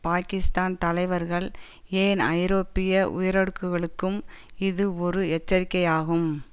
பாகிஸ்தான் தலைவர்கள் ஏன் ஐரோப்பிய உயரடுக்குகளுக்கும் இது ஒரு எச்சரிக்கையாகும்